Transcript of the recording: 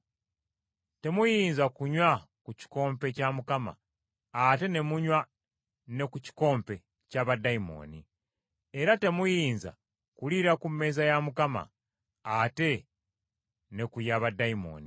Temuyinza kunywa ku kikompe kya Mukama ate ne munywa ne ku kikompe kya baddayimooni. Era temuyinza kuliira ku mmeeza ya Mukama ate ne ku ya baddayimooni.